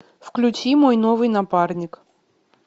включи мой новый напарник